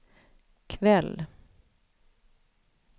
kväll